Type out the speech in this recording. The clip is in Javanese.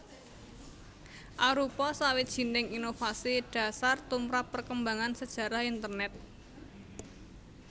arupa sawijining inovasi dhasar tumrap perkembangan sajarah Internèt